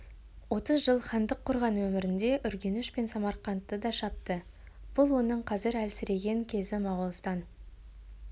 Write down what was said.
отыз жыл хандық құрған өмірінде үргеніш пен самарқантты да шапты бұл оның қазір әлсіреген кезі моғолстан